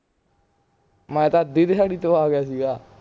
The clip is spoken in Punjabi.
ਮੈਂ ਤਾਂ ਅੱਧੀ ਦਿਹਾੜੀ ਤੋਂ ਆ ਗਿਆ ਸੀਗਾ